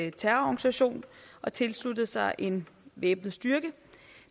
en terrororganisation og tilslutte sig en væbnet styrke